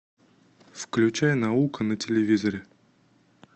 включай наука на телевизоре